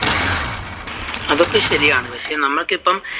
അതൊക്കെ ശരിയാണ്. പക്ഷെ നമുക്കിപ്പോൾ